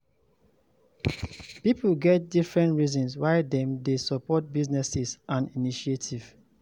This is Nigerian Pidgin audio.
Pipo get different reasons why dem de support businesses and initiative